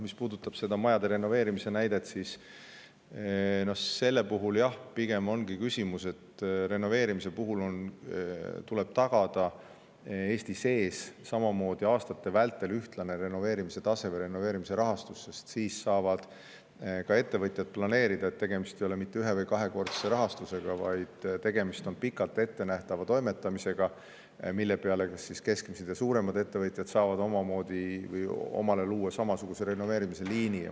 Mis puudutab seda majade renoveerimise näidet, siis selle puhul on pigem küsimus selles, et aastate vältel tuleb Eestis tagada ühtlane renoveerimise tase või rahastus, sest siis saavad ka ettevõtjad planeerida: tegemist ei ole mitte ühe- või kahekordse rahastusega, vaid pikalt ettenähtava tegevusega, mille abil saavad kas keskmised või suuremad ettevõtjad luua omale samasuguse renoveerimisliini.